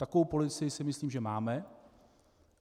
Takovou policii si myslím, že máme.